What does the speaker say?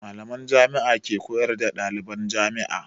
Mallaman Jami'a ke koyar da ɗaliban jami'a.